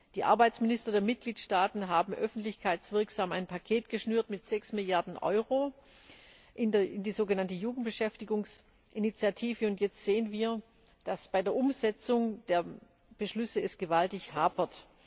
Die Arbeitsminister der Mitgliedstaaten haben öffentlichkeitswirksam ein Paket geschnürt mit 6 Milliarden Euro für die sogenannte Jugendbeschäftigungsinitiative, und jetzt sehen wir, dass es bei der Umsetzung der Beschlüsse gewaltig hapert.